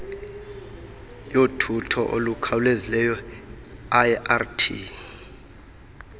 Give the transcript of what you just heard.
yothutho olukhawulezayo irt